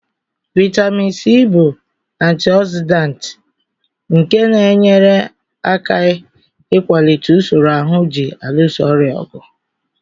Vitamin C bụ antioxidant nke na-enyere aka ịkwalite usoro ahụ ji alụso ọrịa ọgụ.